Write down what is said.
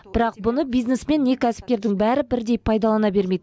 бірақ бұны бизнесмен не кәсіпкердің бәрі бірдей пайдалана бермейді